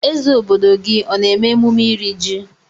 Eze obodo gị ọ na-eme emume ịri jị?